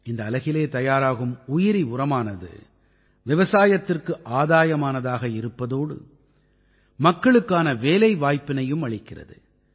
இந்த அலகிலே தயாராகும் உயிரி உரமானது விவசாயத்திற்கு ஆதாயமானதாக இருப்பதோடு மக்களுக்கான வேலைவாய்ப்பினையும் அளிக்கிறது